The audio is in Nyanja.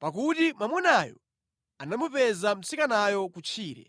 pakuti mwamunayo anamupeza mtsikanayo kutchire,